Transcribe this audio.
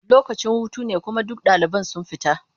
Lokacin hutu ne kuma duk ɗaliban sun fita.